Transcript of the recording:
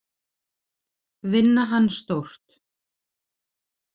Vinna hann stórt.